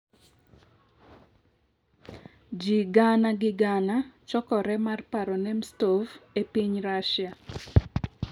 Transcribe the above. Ji gana gi gana chokore mar paro Nemtsov e piny Russia